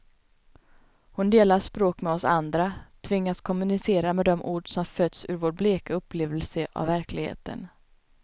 Hon delar språk med oss andra, tvingas kommunicera med de ord som fötts ur vår bleka upplevelse av verkligheten.